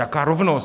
Jaká rovnost?